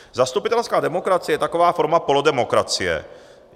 Zastupitelská demokracie je taková forma polodemokracie.